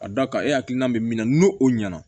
A da kan e hakilina bɛ min na n'o ɲɛna